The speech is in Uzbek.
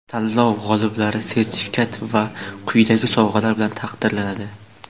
Tanlov g‘oliblari sertifikat va quyidagi sovg‘alar bilan taqdirlanadi:.